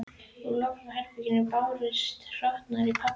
Úr lokuðu herbergi bárust hroturnar í pabba.